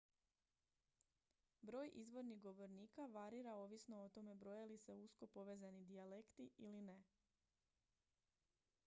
broj izvornih govornika varira ovisno o tome broje li se usko povezani dijalekti ili ne